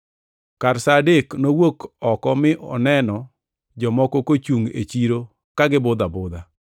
“Kar sa adek nowuok oko mi noneno jomoko kochungʼ e chiro ka gibudho abudha.